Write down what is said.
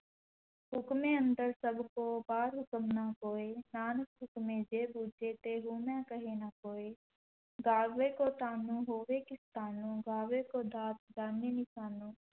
ਹੁਕਮੈ ਅੰਦਰਿ ਸਭੁ ਕੋ ਬਾਹਰਿ ਹੁਕਮ ਨ ਕੋਇ, ਨਾਨਕ ਹੁਕਮੈ ਜੇ ਬੁਝੈ ਤੇ ਹਉਮੈ ਕਹੈ ਨ ਕੋਇ, ਗਾਵੈ ਕੋ ਤਾਣੁ ਹੋਵੈ ਕਿਸੈ ਤਾਣੁ, ਗਾਵੈ ਕੋ ਦਾਤਿ ਜਾਣੈ ਨੀਸਾਣੁ,